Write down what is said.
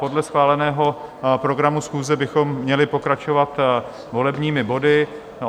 Podle schváleného programu schůze bychom měli pokračovat volebními body.